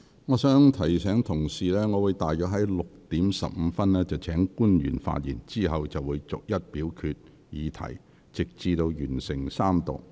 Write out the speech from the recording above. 我提醒委員，我會於大約下午6時15分請官員發言，之後逐一表決有關議題，直至完成三讀。